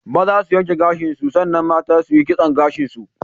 Maza su yanke gashin su san nan mata su yi kisson gashin su.